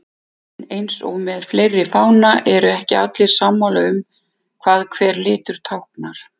En eins og með fleiri fána eru ekki allir sammála um hvað hver litur táknar.